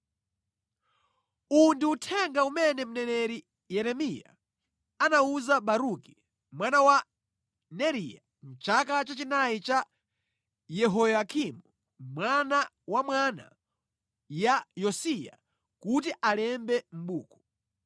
Uwu ndi uthenga umene mneneri Yeremiya anawuza Baruki mwana wa Neriya mʼchaka cha chinayi cha Yehoyakimu mwana wa mwana ya Yosiya kuti alembe mʼbuku.